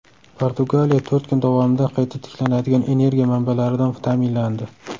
Portugaliya to‘rt kun davomida qayta tiklanadigan energiya manbalaridan ta’minlandi.